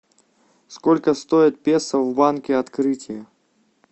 сколько стоит песо в банке открытие